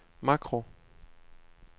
makro